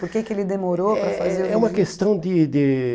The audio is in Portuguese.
Por que que ele demorou para fazer o registro? É é uma questão de de